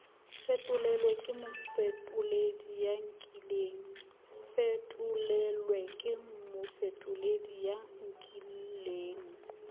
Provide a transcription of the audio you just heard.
fetolelwe ke mofetoledi ya nkileng